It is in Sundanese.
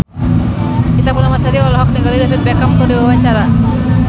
Ita Purnamasari olohok ningali David Beckham keur diwawancara